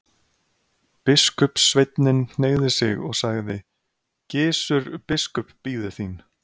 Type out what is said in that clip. Biskupssveinninn hneigði sig og sagði:-Gizur biskup bíður þín.